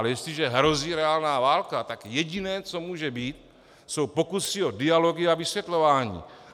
Ale jestliže hrozí reálná válka, tak jediné, co může být, jsou pokusy o dialogy a vysvětlování.